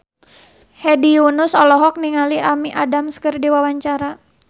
Hedi Yunus olohok ningali Amy Adams keur diwawancara